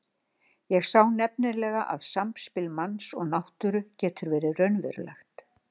Ég sá nefnilega að samspil manns og náttúru getur verið raunverulegt.